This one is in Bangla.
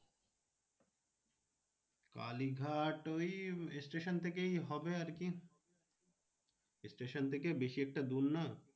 কালীঘাট ওই station থেকেই হবে আর কি station থেকে বেশি একটা দূর না।